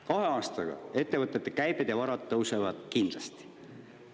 Kahe aastaga ettevõtete käibed ja varad tõusevad kindlasti.